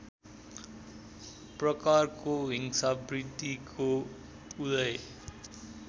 प्रकारको हिंसावृत्तिको उदय